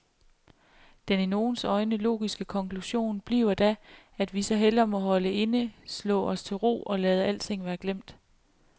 Den i nogens øjne logiske konklusion bliver da, at vi så hellere må holde inde, slå os til ro, og lade alting være glemt.